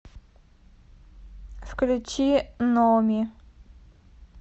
включи номи